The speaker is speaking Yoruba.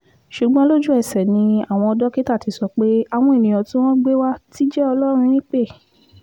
ṣùgbọ́n lójú-ẹsẹ̀ ni àwọn dókítà ti sọ pé àwọn ènìyàn tí wọ́n gbé wa ti jẹ́ ọlọ́run nípẹ́